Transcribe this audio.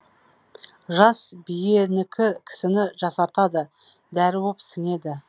жас биенікі кісіні жасартады дәрі боп сіңеді